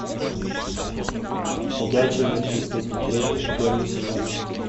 ходячие мертвецы смотреть первый сезон